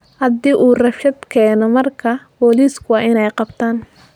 Haddii uu rabshad keeno markaa booliisku waa inay qabtaan